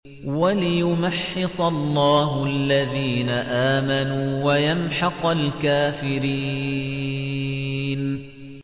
وَلِيُمَحِّصَ اللَّهُ الَّذِينَ آمَنُوا وَيَمْحَقَ الْكَافِرِينَ